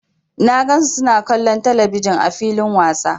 Na gan su suna kallon telebijin ã filin wasa.